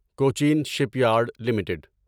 Cochin shipyard limited